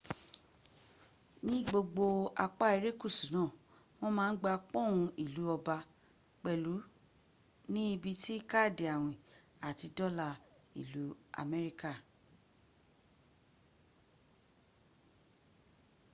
ní gbogbo apa irekusu naa wọ́n ma n gba pọ́n ìlú ọba pẹ̀lú ní ibi tí káàdì àwìn àti dola ìlú amerika